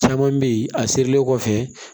Caman bɛ yen a sirilen kɔfɛ